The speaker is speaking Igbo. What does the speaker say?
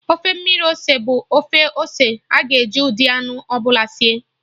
Ofe mmiri ose bụ ofe ose aga-eji ụdị anụ ọbụla sie